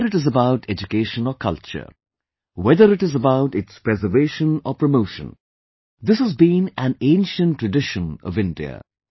Whether it is about education or culture, whether it is about its preservation or promotion, this has been an ancient tradition of India